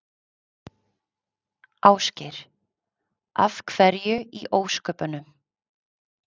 Ásgeir: Af hverju í ósköpunum?